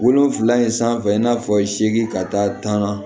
Wolonfila in sanfɛ i n'a fɔ seegin ka taa tan na